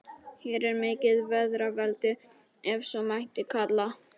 Hér er mikið feðraveldi, ef svo mætti kalla.